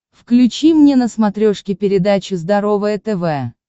включи мне на смотрешке передачу здоровое тв